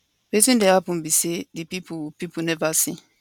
wetin dey happun be say di pipo pipo neva see